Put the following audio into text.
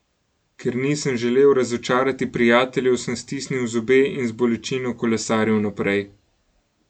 Ker nisem želel razočarati prijateljev, sem stisnil zobe in z bolečino kolesaril naprej.